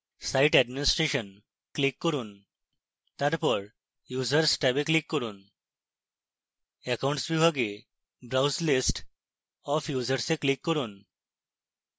site administration এ click করুন তারপর users ট্যাবে click করুন accounts বিভাগে browse list of users এ click করুন